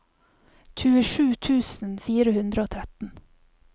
tjuesju tusen fire hundre og tretten